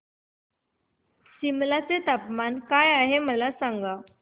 सिमला चे तापमान काय आहे मला सांगा